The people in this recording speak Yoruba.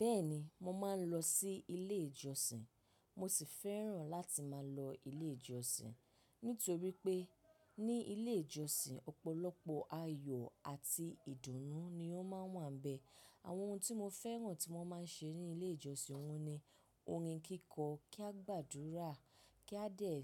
Bẹ́ẹ̀ni mo máa ń lọ sí ilé ìjọsìn. Mo sì fẹ́ràn láti máa lọ ilé ìjọsìn nítorí pé ní ilé ìjọsìn ọ̀pọ̀lọpọ̀ ayọ̀ àti ìdùnnú ni ó máa ń wà n bẹ. Àwọn ohun tí mo fẹ́ràn tí wọ́n máa ń ṣe ní ilé ìjọsìn ohun ni orin kíkọ, kí a gbàdúrà, kí a dẹ̀,